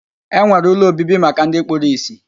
E nwere ụlọ obibi maka ndị kpuru isi.